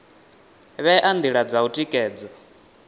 vhea ndila dza u tikedza